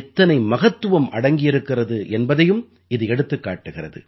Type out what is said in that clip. எத்தனை மகத்துவம் அடங்கியிருக்கிறது என்பதையும் இது எடுத்துக் காட்டுகிறது